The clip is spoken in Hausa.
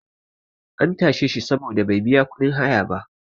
an tashe shi saboda bai biya kudin haya ba